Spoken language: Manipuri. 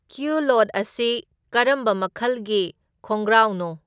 ꯀ꯭ꯌꯨꯂꯣꯠ ꯑꯁꯤ ꯀꯔꯝꯕ ꯃꯈꯜꯒꯤ ꯈꯣꯡꯒ꯭ꯔꯥꯎꯅꯣ